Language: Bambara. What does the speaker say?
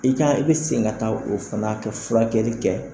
I kan i bɛ segin ka taa o fana ka furakɛli kɛ